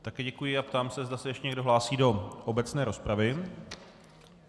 Také děkuji a ptám se, zda se ještě někdo hlásí do obecné rozpravy.